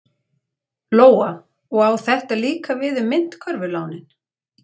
Lóa: Og á þetta líka við um myntkörfulánin?